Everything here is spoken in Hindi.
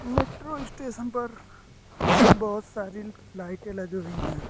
मेट्रो स्टेशन पर बहुत सारी लाइटें लगी हुई हैं।